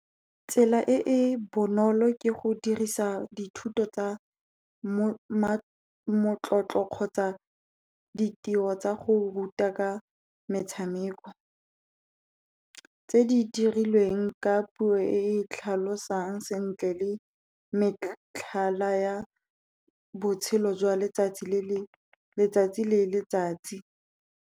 Tsela e e bonolo ke go dirisa dithuto tsa motlotlo kgotsa ditiro tsa go ruta ka metshameko, tse di dirilweng ka puo e tlhalosang sentle le metlhala ya botshelo jwa letsatsi le letsatsi.